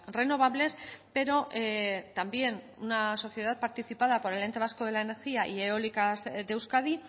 renovables pero también una sociedad participada por el ente vasco de la energía y eólicas de euskadi